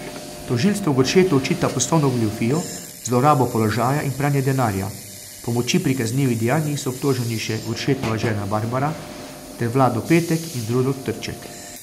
Tožilstvo Goršetu očita poslovno goljufijo, zlorabo položaja in pranje denarja, pomoči pri kaznivih dejanjih so obtoženi še Goršetova žena Barbara ter Vlado Petek in Rudolf Trček.